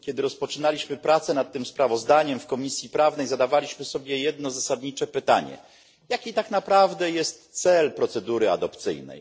Kiedy rozpoczynaliśmy pracę nad tym sprawozdaniem w Komisji Prawnej, zadawaliśmy sobie jedno zasadnicze pytanie jaki tak naprawdę jest cel procedury adopcyjnej?